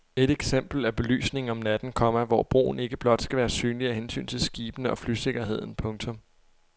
Et eksempel er belysningen om natten, komma hvor broen ikke blot skal være synlig af hensyn til skibene og flysikkerheden. punktum